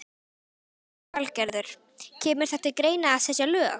Lillý Valgerður: Kemur það til greina að setja lög?